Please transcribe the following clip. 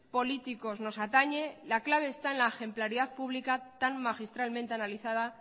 políticos nos atañe la clave está en la ejemplaridad pública tan magistralmente analizada